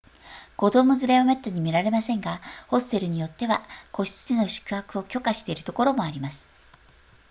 子供連れはめったに見られませんがホステルによっては個室での宿泊を許可しているところもあります